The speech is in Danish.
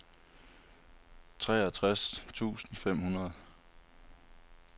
treogtres tusind fem hundrede